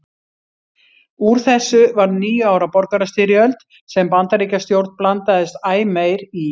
Úr þessu varð níu ára borgarastyrjöld sem Bandaríkjastjórn blandaðist æ meir í.